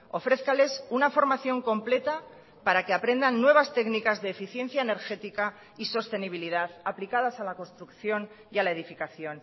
ofrézcales una formación completa para que aprendan nuevas técnicas de eficiencia energética y sostenibilidad aplicadas a la construcción y a la edificación